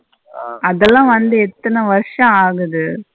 அதுல வந்து எத்தன வர்சோ ஆகுது.